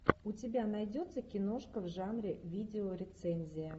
у тебя найдется киношка в жанре видеорецензия